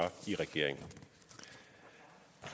i regering